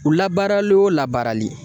U labaarali o labaarali.